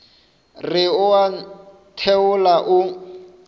re o a ntheola o